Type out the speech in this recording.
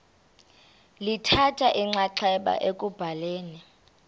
lithatha inxaxheba ekubhaleni